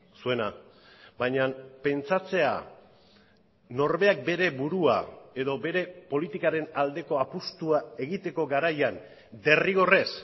zuena baina pentsatzea norberak bere burua edo bere politikaren aldeko apustua egiteko garaian derrigorrez